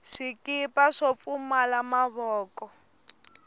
swikipa swo pfumala mavoko